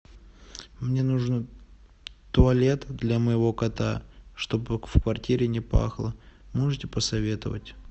мне нужно туалет для моего кота чтобы в квартире не пахло можете посоветовать